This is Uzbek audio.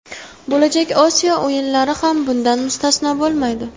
Bo‘lajak Osiyo o‘yinlari ham bundan mustasno bo‘lmaydi.